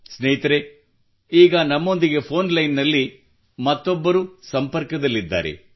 ಸ್ನೇಹಿತರೇ ಈಗ ನಮ್ಮೊಂದಿಗೆ ಫೋನ್ ಲೈನ್ ನಲ್ಲಿ ಮತ್ತೊಬ್ಬರು ಸಂಪರ್ಕದಲ್ಲಿದ್ದಾರೆ